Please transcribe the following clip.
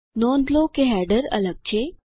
નોંધ લો કે હેડર અલગ છે